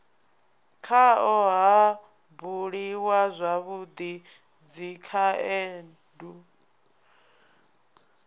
khao ha buliwa zwavhui dzikhaendu